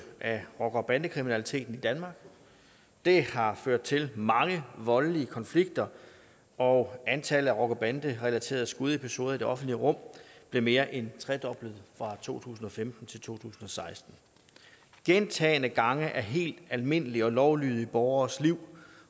af rocker bande kriminaliteten i danmark det har ført til mange voldelige konflikter og antallet af rocker bande relaterede skudepisoder i det offentlige rum blev mere end tredoblet fra to tusind og femten til to tusind og seksten gentagne gange er helt almindelige og lovlydige borgeres liv